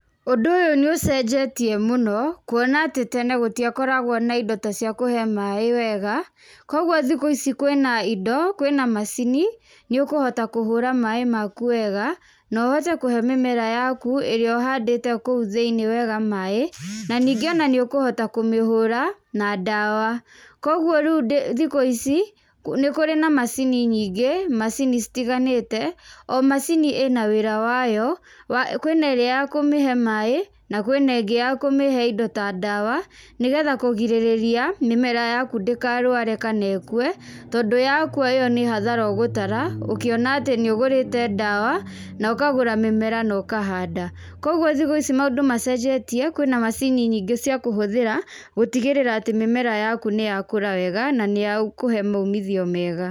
ũndũ ũyũ nĩ ũcenjetie mũno, kwona atĩ tene gũtĩakoragwo na indo cĩa kũhe maaĩ wega, kwoguo thikũ ici kwĩna indo, kwĩna macini, nĩ ũkũhota kũhura maaĩ maku wega, nohote kũhe mĩmera yaku ĩrĩa ũhandĩte okũu thĩiniĩ wega maaĩ, na ningĩ ona nĩ ũkuhota kũmĩhũra na ndawa, kwoguo rĩu ndĩ thikũ ici nĩ kũrĩ na macini nyingĩ, macini citiganĩte, o macini ina wĩra wayo, wa kwĩneria ya kũmĩhe maaĩ, na kwĩnengĩ ya kũmĩhe indo ta ndawa nĩgetha kũgirĩria mĩmera yaku ndĩkarware kana ĩkwe, tondũ yakwa ĩyo nĩ hathara ũgũtara, ũkĩona atĩ nĩ ũgũrĩte ndawa, nokagũra mĩmera na ũkahanda, kwoguo thikũ ici mandũ macenjetie kwina macini nyingĩ cia kũhũthĩra, gũtigĩrĩra atĩ mĩmera yaku nĩ yakũra wega na nĩ yakuhe maimithio mega.